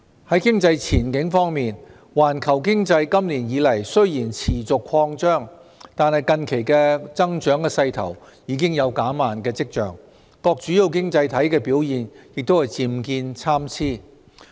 在經濟前景方面，環球經濟今年以來雖然持續擴張，但近期的增長勢頭已有減慢的跡象，各主要經濟體的表現也漸見參差。